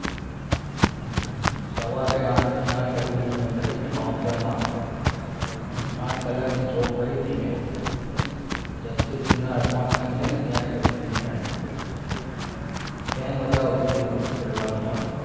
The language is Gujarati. સવારે આઠ થી આઠ લગીની કરીતી મેં bouncer માં આઠ કલાકની job કરી તિ મે જસ્મીત apartment છે ત્યાં જ કરી હતી મેં ત્યારે મજા આવતી હતી નોકરી કરવાની આમ